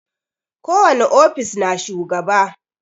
Ko wani ofis na shugaba.